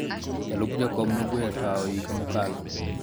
jalup jakom ne ogweyo tawo higa mokalo